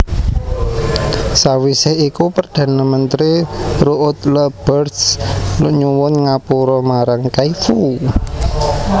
Sawisé iku Perdana Menteri Ruud Lubbers nyuwun ngapura marang Kaifu